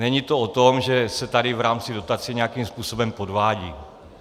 Není to o tom, že se tady v rámci dotace nějakým způsobem podvádí.